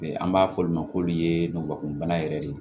An b'a fɔ olu ma ko olu ye ngulɔkumuni yɛrɛ de